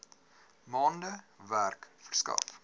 maande werk verskaf